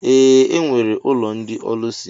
Ee, e nwere ụlọ ndị ọlusi